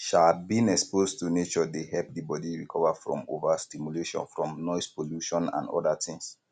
um being exposed to nature dey help di body recover from over stimulation from noise pollution and oda things